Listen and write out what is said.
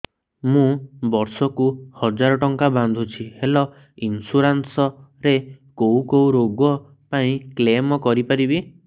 ମୁଁ ବର୍ଷ କୁ ହଜାର ଟଙ୍କା ବାନ୍ଧୁଛି ହେଲ୍ଥ ଇନ୍ସୁରାନ୍ସ ରେ କୋଉ କୋଉ ରୋଗ ପାଇଁ କ୍ଳେମ କରିପାରିବି